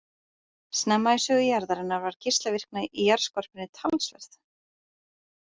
Snemma í sögu jarðarinnar var geislavirkni í jarðskorpunni talsverð.